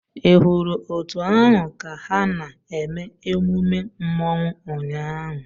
Ị hụrụ òtù ahụ ka ha na-eme emume Mmanwu ụnyahụ?